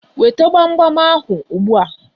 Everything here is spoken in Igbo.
Weta gbam gbam ahụ ugbu a!